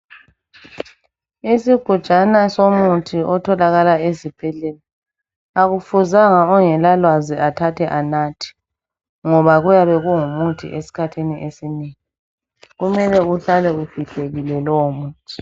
Isigujana somuthi otholakala esibhedlela. Kakufuzanga ongalalwazi athathe anathe. Kumele uhlale ufihlekile, ngoba kuyabe kungumuthi.